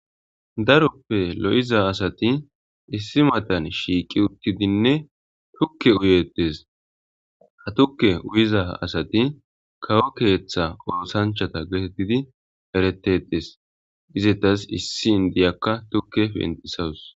Dropped lo'iya asati issi matan shiiqi utidinne tuke uyetes, tuke uyiza asati kawo keetha osanchata getetid eretetes, izetas issi indiyaka tuke pentisawusi